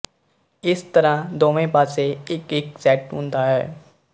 ਇਸ ਤਰ੍ਹਾਂ ਦੋਵੇਂ ਪਾਸੇ ਇੱਕਇੱਕ ਸੈੱਟ ਹੁੰਦਾ ਹੈ